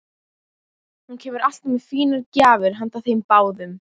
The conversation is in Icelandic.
Hún kemur alltaf með fínar gjafir handa þeim báðum.